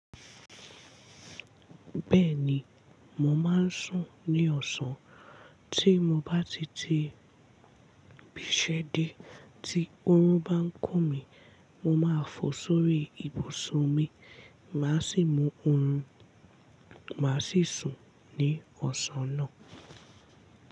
Bẹ́ẹ̀ni, mo máa ń sùn ní ọ̀sán. Tí mo bá ti ti bisẹ́ dé, tí òórùn bá ń kùn mí, mo máa fò sórí ibùsùn mi, màá sì mú oorun, màá sì sùn ní ọ̀sán náà.